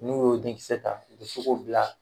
N'u y'o denkisɛ u be se k'o bila